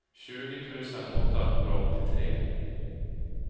tjugo tusen åttahundraåttiotre